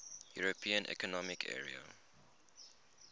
european economic area